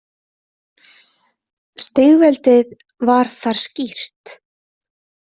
Stigveldið var þar skýrt.